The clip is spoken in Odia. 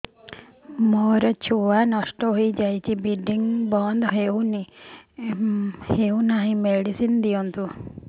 ମୋର ଛୁଆ ନଷ୍ଟ ହୋଇଯାଇଛି ବ୍ଲିଡ଼ିଙ୍ଗ ବନ୍ଦ ହଉନାହିଁ ମେଡିସିନ ଦିଅନ୍ତୁ